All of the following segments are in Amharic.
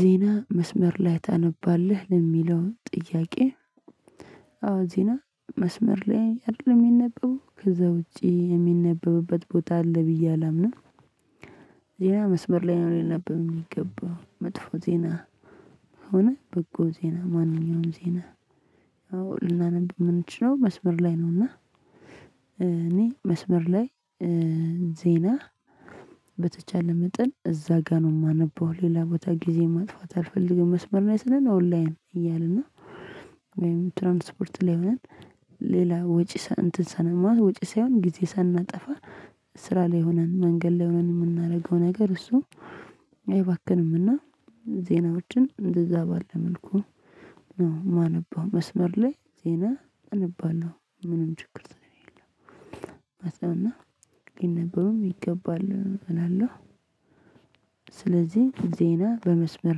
ዜና መስመር ላይ ታነባለህ ለሚለው ጥያቄ? አዎ ዜና መስመር ላይ አይደለም እሚነበበው ከዛ ውጪ የሚነበብበት ቦታ አለ ብዬ አላምንም። ዜና መስመር ላይ ነው ሊነበብ እሚገባው መጥፎ ዜና ሆነ በጎ ዜና ማንኛውም ዜና። አዎ ልናነብ እምንችለው መስመር ላይ ነውና። እኔ መስመር ላይ ዜና በተቻለ መጠን እዛ ጋር ነው የማነበው ሌላ ቦታ ጊዜ ማጥፋት አልፈልግም መስመር ነው የሰነን ኦንላይን እያልን ነው። ወይም ትራንስፖርት ላይ ሆነን ሌላ ወጪ ሳንማት ወጪ ሳይሆን ጊዜ ሳናጠፋ። ስራ ላይ ሆነን መንገድ ላይ ሆነን የምናደርገው ነገር እሱ አይባክንምና። ዜናዎችን እንደዛ ባለ መልኩ ነው የማነበው መስመር ላይ ዜና አነባለሁ ምንም ችግር ስለሌለው። እና ግን ነገሩን ይገባል እላለሁ። ስለዚህ ዜና በመስመር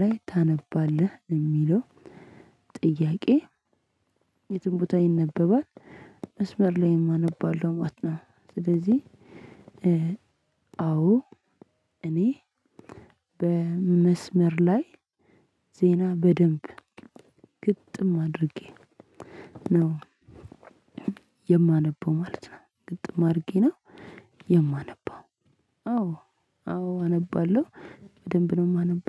ላይ ታነባለህ የሚለው ጥያቄ? የትም ቦታ ይነበባል። መስመር ላይም አነባለው ማለት። ስለዚህ አዎ እኔ በመስመር ላይ ዜና በደንብ ግጥም አድርጌ ነው የማነበው ማለት ነው። ግጥም አድርጌ ነው የማነበው አዎ አዎ አነባለሁ በደንብ ነው የማነበው